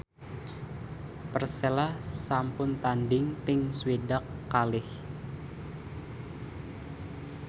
Persela sampun tandhing ping swidak kalih